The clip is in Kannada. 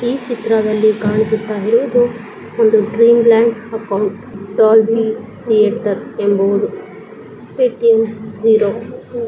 ಈ ಚಿತ್ರದಲ್ಲಿ ಕಾಣಿಸುತ್ತ ಇರುವುದು ಒಂದು ಡ್ರಿಮ್ಲ್ಯಾಂಡ್ ಅಕೌಂಟ್ ಡಾಲ್ಬಿ ಥಿಯೇಟರ್